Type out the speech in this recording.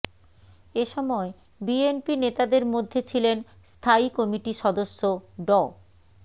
এ সময় বিএনপি নেতাদের মধ্যে ছিলেন স্থায়ী কমিটি সদস্য ড